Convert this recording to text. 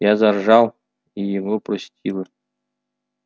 я заржала и его простила